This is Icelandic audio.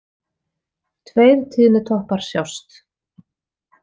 Tveir tíðnitoppar sjást.